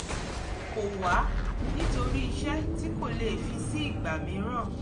kọ̀ wá nítorí iṣẹ́ tí kò lè fi sí ìgbà míìràn